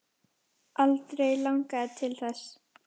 Aldrei langað til þess.